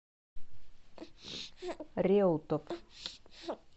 реутов